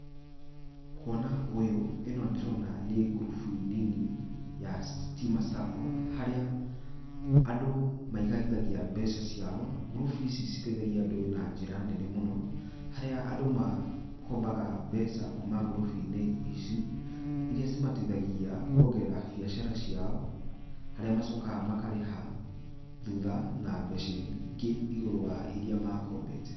Kuona ũyũ, ĩno ndĩrona nĩ ngurubu nini ya Stima Sacco harĩa andũ maigithagia mbeca ciao, ngurubu ici citeithagia andũ na njĩra nene mũno, harĩa andũ makombaga mbeca kuma ngurubu-inĩ ici, iria cimateithagia kuongerera biacara ciao, harĩa macokaga makarĩha thutha na mbeca ingĩ igũrũ wa iria makombete.